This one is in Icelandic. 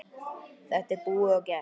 Þetta er búið og gert.